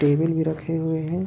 Table भी रखे हुए है।